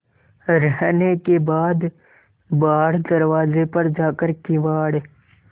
रहने के बाद बाहर दरवाजे पर जाकर किवाड़